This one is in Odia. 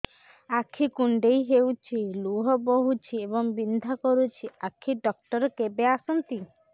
ଆଖି କୁଣ୍ଡେଇ ହେଉଛି ଲୁହ ବହୁଛି ଏବଂ ବିନ୍ଧା କରୁଛି ଆଖି ଡକ୍ଟର କେବେ ଆସନ୍ତି